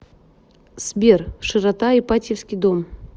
сбер широта ипатьевский дом